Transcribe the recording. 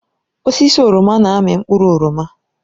Osisi oroma na-amị mkpụrụ oroma.